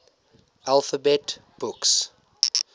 alphabet books